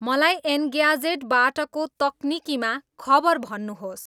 मलाई एन्ग्याजेटबाटको तकनिकीमा खबर भन्नुहोस्